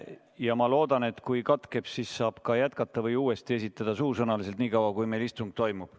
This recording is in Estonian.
Ja ma loodan, et kui katkeb, siis saab ka jätkata või uuesti suusõnaliselt esitada nii kaua, kui meil istung toimub.